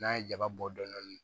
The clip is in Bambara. N'a ye jaba bɔ dɔɔni